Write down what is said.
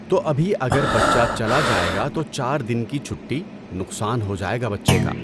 تو ابھی اگر بچہ چلا جائے گا تو چار دِن کی چُھٹی، نقصان ہو جائے گا بچے کا۔